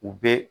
U bɛ